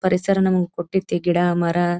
ಪರಿಸರ ನಮಗೆ ಕೊಟ್ಟದೆ ಗಿಡ ಮರ.